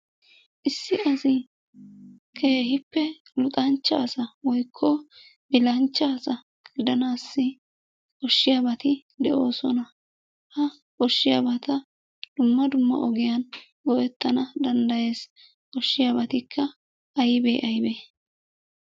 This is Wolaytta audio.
Issi asi keehippe luxanchcha asa woykko bilanchcha asa gidanaassi koshshiyabati de'oosona. Ha koshshiyabata dumma dumma ogiyan go'ettana danddayes. Koshshiyabatikka ayibe ayibe?